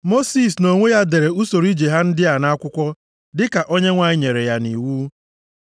Mosis, nʼonwe ya, dere usoro ije ha ndị a nʼakwụkwọ dịka Onyenwe anyị nyere ya nʼiwu.